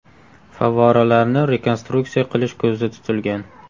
Favvoralarni rekonstruksiya qilish ko‘zda tutilgan.